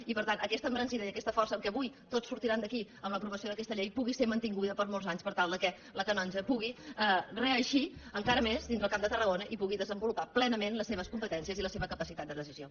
i per tant que aquesta embranzida i aquesta força amb què avui tots sortiran d’aquí amb l’aprovació d’aquesta llei pugui ser mantinguda per molts anys per tal que la canonja pugui reeixir encara més dintre del camp de tarragona i pugui desenvolupar plenament les seves competències i la seva capacitat de decisió